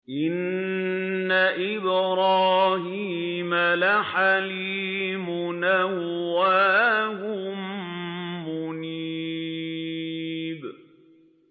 إِنَّ إِبْرَاهِيمَ لَحَلِيمٌ أَوَّاهٌ مُّنِيبٌ